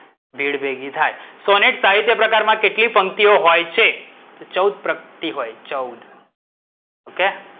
ભીડ ભેગી થાય. સોનેટ સાહિત્ય પ્રકારમાં કેટલી પંક્તિઓ હોય છે? ચૌદ પ્રકટી હોય ચૌદ.